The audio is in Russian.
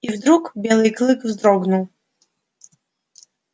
и вдруг белый клык вздрогнул